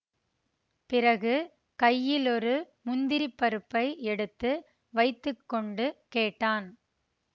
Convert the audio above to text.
பிறகு கையிலொரு முந்திரிப் பருப்பை எடுத்து வைத்து கொண்டு கேட்டான்